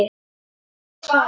Má ég það?